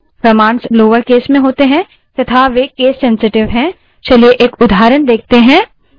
commands lower case में होती हैं तथा वे case sensitive हैं चलिए एक उदाहरण देखते हैं